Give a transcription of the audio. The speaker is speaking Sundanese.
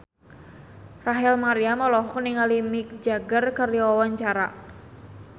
Rachel Maryam olohok ningali Mick Jagger keur diwawancara